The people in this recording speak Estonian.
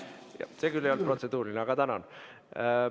See küll ei olnud protseduuriline, aga tänan.